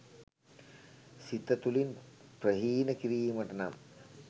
සිත තුළින් ප්‍රහීණ කිරීමට නම්